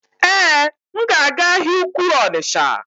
Èé, m ga-aga ahịa ukwuu Onitsha.